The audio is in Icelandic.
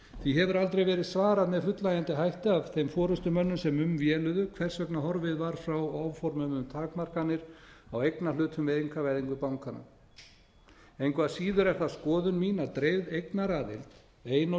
því hefur aldrei verið svarað með fullnægjandi hætti af þeim forustumönnum sem um véluðu hvers vegna horfið var frá áformum um takmarkanir á eignarhlutum við einkavæðingu bankanna engu að síður er það skoðun mín að dreifð eignaraðild ein og